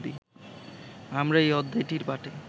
আমরা এই অধ্যায়টির পাঠে